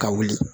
Ka wuli